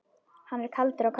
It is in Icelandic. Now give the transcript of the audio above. Hann er kaldur á köflum.